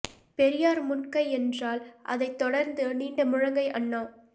பெரியார் முன் கை என்றால் அதைத் தொடர்ந்து நீண்ட முழங்கை அண்ணா